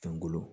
Kunkolo